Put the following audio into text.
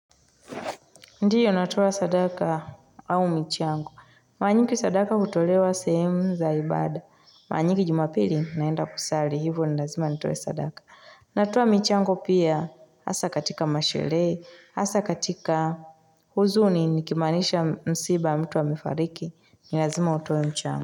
Ndiyo natoa sadaka au michango. Mara nyingi sadaka hutolewa sehemu za ibada. Mara nyingi jumapili naenda kusali. Hivo ni lazima natoe sadaka. Natuwa michiangu pia. Hasaa katika masherehe. Hasa katika huzuni nikimanisha msiba mtu amefariki. Ni lazima utoe mchango.